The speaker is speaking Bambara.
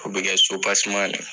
O bɛ kɛ sopaseman de ye.